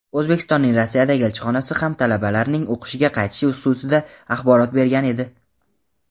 O‘zbekistonning Rossiyadagi elchixonasi ham talabalarning o‘qishga qaytishi xususida axborot bergan edi.